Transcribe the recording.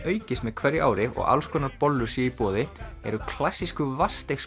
aukist með hverju ári og alls konar bollur séu í boði eru klassísku